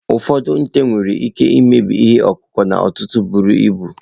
Ụfọdụ nte nwere ike imebi ihe ọkụkụ n'ọtụtụ buru ibu.